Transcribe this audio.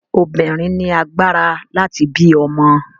Obìnrin ni agbára láti bí ọmọ.